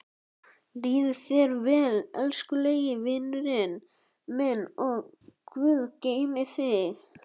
Líði þér vel, elskulegi vinurinn minn og guð geymi þig.